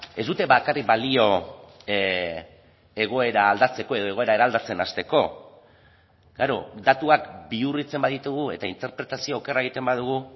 ez dute bakarrik balio egoera aldatzeko edo egoera eraldatzen hasteko datuak bihurritzen baditugu eta interpretazio okerra egiten badugu